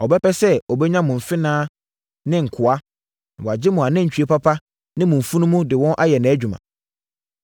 Ɔbɛpɛ sɛ ɔbɛnya mo mfenaa ne nkoa, na wagye mo anantwie papa ne mo mfunumu de wɔn ayɛ nʼadwuma.